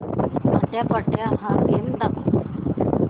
आट्यापाट्या हा गेम दाखव